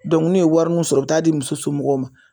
n'u ye warinin sɔrɔ u bi taa di muso mɔgɔw ma.